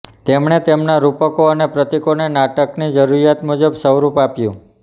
તેમણે તેમના રૂપકો અને પ્રતિકોને નાટકની જરૂરિયાત મુજબનું સ્વરૂપ આપ્યું